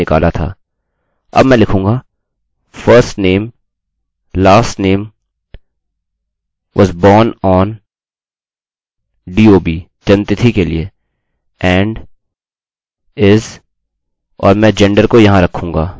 अब मैं लिखूँगा firstname lastname was born on dob जन्म तिथि के लिए and is और मैं जेंडरgender को यहाँ रखूँगा